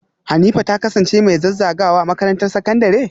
Hanifa ta kasance mai zazzagawa a makarantar sakandare?